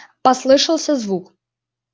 послышался звук